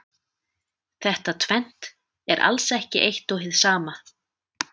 Þetta tvennt er alls ekki eitt og hið sama.